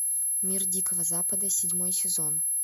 мир дикого запада седьмой сезон